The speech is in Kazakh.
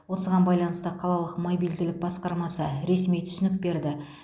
осыған байланысты қалалық мобильділік басқармасы ресми түсінік берді